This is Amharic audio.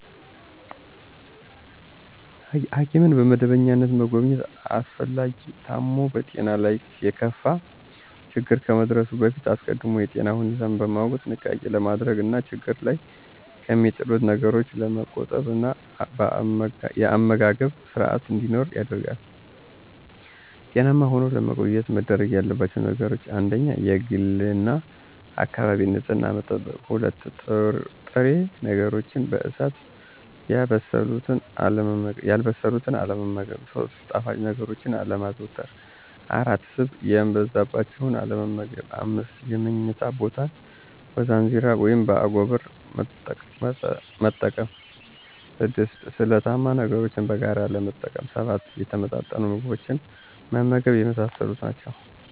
ሐኪምን በመደበኛነት መጎብኘት አስፈላጊነቱ ታሞ በጤናው ላይ የከፋ ችግር ከመድረሱ በፊት አስቀድሞ የጤናን ሁኔታ በማወቅ ጥንቃቄ ለማድረግ እና ችግር ላይ ከሚጥሉት ነገሮች ለመቆጠብ እና የአመጋገብ ስርአት እንዲኖር ያደርጋል። ጤናማ ሁነው ለመቆየት መደረግ ያለባቸው ነገሮች : 1-የግልና የአካባቢን ንጽህና መጠበቅ። 2-ጥሬ ነገሮችን በእሳት ያልበሰሉትን አለመመገብ። 3-ጣፋጭ ነገሮችን አለማዘውተር። 4-ስብ የበዛባቸውን አለመመገብ። 5-የምኝታ ቦታን በዛንዚራ (በአጎበር)መጠቀም። 6-ስለታማ ነገሮችን በጋራ አለመጠቀም። 7-የተመጣጠኑ ምግቦችን መመገብ የመሳሰሉት ናቸው።